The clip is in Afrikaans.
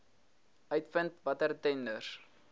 uitvind watter tenders